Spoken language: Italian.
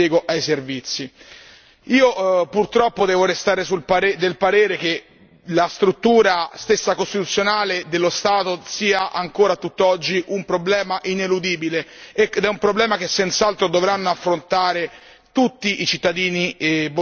Io purtroppo devo restare del parere che la stessa struttura costituzionale dello Stato sia ancora a tutt'oggi un problema ineludibile ed è un problema che senz'altro dovranno affrontare tutti i cittadini bosniaci in primo luogo.